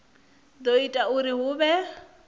do ita uri hu vhe